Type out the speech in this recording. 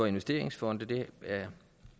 investeringsfonde det er